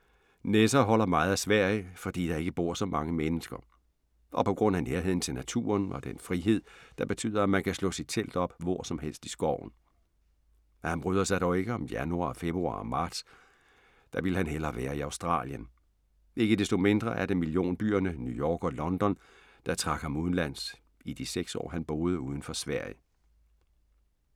Nesser holder meget af Sverige, fordi der ikke bor så mange mennesker. Og på grund af nærheden til naturen og den frihed, der betyder, at man kan slå sit telt op hvor som helst i skoven. Han bryder sig dog ikke om januar, februar og marts, der ville han hellere være i Australien. Ikke desto mindre er det millionbyerne New York og London, der trak ham udenlands i de seks år, han boede udenfor Sverige.